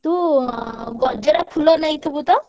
ତୁ ଗଜରା ଫୁଲ ନେଇଥିବୁ ତ!